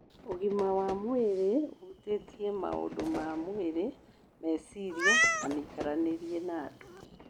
Ũgima wa mwĩrĩ ũhutĩtie maũndũ ma mwĩrĩ, meciria, na mĩikaranĩrie na andũ.